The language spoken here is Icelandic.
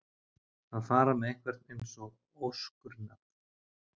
Að fara með einhvern eins og óskurnað